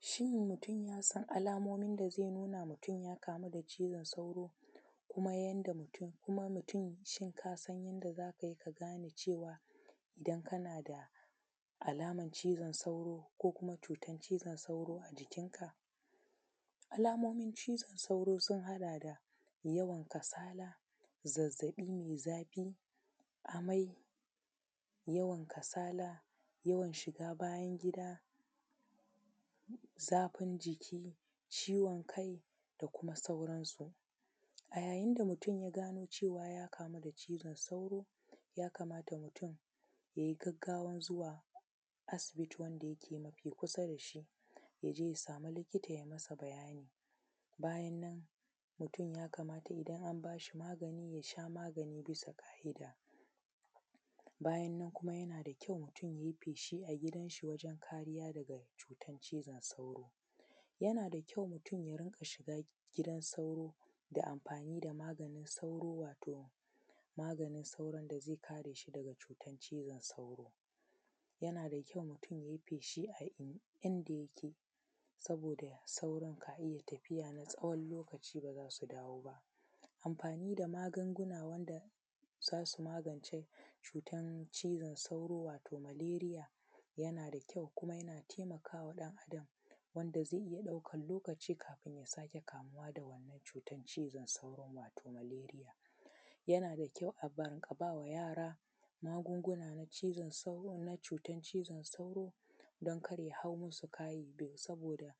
Shin mutum ya san alamomi da zai nuna ya kamu da cizon sauro kuma mutum shin ka san yanda za ka gane cewa idan kana da alaman cizon sauro ko kuma cutan cizon sauro a jikinka? Alamomin cizon sauro sun haɗa da yawan kasala, zazzaɓi mai zafi, amai, yawan kasala, yawan shiga bayi, zafin jiki, ciwon kai da kuma sauransu. A yayin da mutum ya gano cewa ya kamu da cizon sauro ya kamata mutum ya yi gaggawan jzuwa asibiti wanda yake kusa da shi ya je ya sama likita ya yi masa bayani. Bayan nan mutum ya kamata idan an ba shi magani ya sha magani bias ƙa’ida bayan nan yana da kyau mutum ya yi feshi a gidan shi wajen kariya daga cutan cizon sauro, yana da kyau mutum ya dinga shiga gidan sauro da amfani da maganin sauro wato maganin sauron da zai kare shi daga cutan cizon sauro, yana da kyau mutum ya yi feshi a inda yake saboda sauron kariya tafiya na tsawon lokaci ba za su dawo ba. Amfani da magunguna wanda za su magance cizon sauro ko maleriya yana da kyau yana taimakawa wanda zai iya ɗaukan lokaci bai ƙara kamuwa da wannan cutan cizon sauro ba ko maleriya, yana da kyau ka ba ma yara magunguna na cizon sauro na cutan cizon sauro don kar ya hau musu kai saboda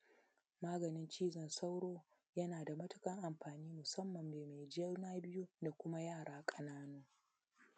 maganin cizon sauro yana da matuƙar amfani musanman game juna biyu da kuma yara ƙanana.